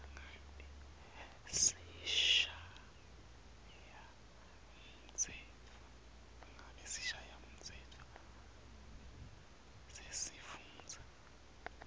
ngabe sishayamtsetfo sesifundza